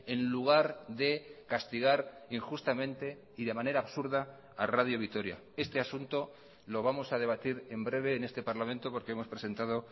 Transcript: en lugar de castigar injustamente y de manera absurda a radio vitoria este asunto lo vamos a debatir en breve en este parlamento porque hemos presentado